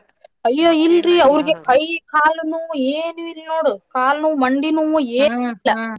ಅಯ್ಯೋ ಇಲ್ರಿ ಅವ್ರಿಗ್ ಕೈ ಕಾಲ ನೋವ್ ಏನು ಇಲ್ ನೋಡು ಕಾಲ ನೋವು ಮಂಡಿ ನೋವು ಏನು ಇಲ್ಲ .